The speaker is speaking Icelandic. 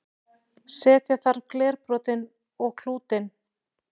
setja þarf glerbrotin og klútinn